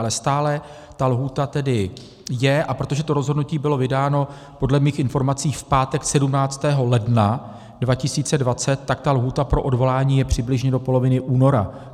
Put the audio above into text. Ale stále ta lhůta tedy je, a protože to rozhodnutí bylo vydáno podle mých informací v pátek 17. ledna 2020, tak ta lhůta pro odvolání je přibližně do poloviny února.